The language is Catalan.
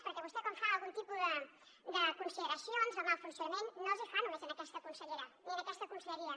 perquè vostè quan fa algun tipus de consideracions del mal funcionament no les fa només a aquesta consellera ni a aquesta conselleria